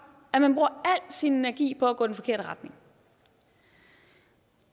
at man bruger al sin energi på at gå i den forkerte retning